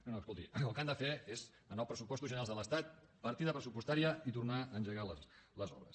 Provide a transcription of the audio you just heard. no no escolti el que han de fer és en els pressupostos generals de l’estat partida pressupostària i tornar a engegar les obres